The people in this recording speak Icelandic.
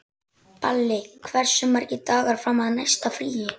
Hlöðver, hvað er á áætluninni minni í dag?